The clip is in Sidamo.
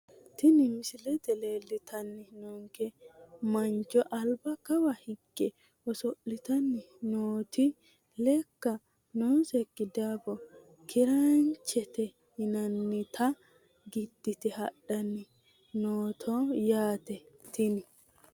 Tini misilete leeltani noonke mancho alba kawa higge osolitani nooti lekka nooseki daafo kiraanchete yinanita gidite hadhani afantano yaate tini.